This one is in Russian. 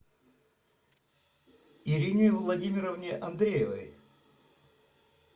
ирине владимировне андреевой